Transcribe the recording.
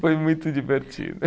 Foi muito divertido.